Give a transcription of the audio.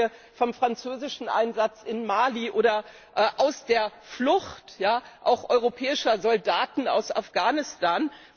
Was lernen wir vom französischen Einsatz in Mali oder aus der Flucht auch europäischer Soldaten aus Afghanistan?